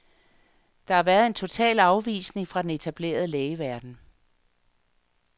Der har været en total afvisning fra den etablerede lægeverden.